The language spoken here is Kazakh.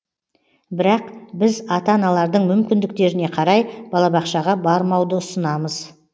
бірақ біз ата аналардың мүмкіндіктеріне қарай балабақшаға бармауды ұсынамыз